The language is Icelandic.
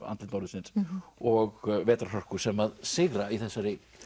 andlit norðursins og vetrarhörkur sem að sigra í þessari